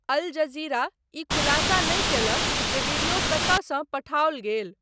अल Jazeera ई खुलासा नहि कयलक जे वीडियो कतयसँ पठाओल गेल।